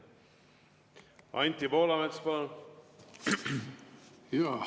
Anti Poolamets, palun!